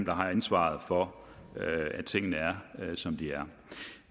har ansvaret for at tingene er som de er